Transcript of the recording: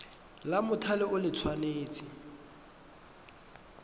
la mothale o le tshwanetse